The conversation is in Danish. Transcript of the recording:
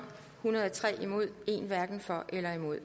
hundrede og tre hverken for eller imod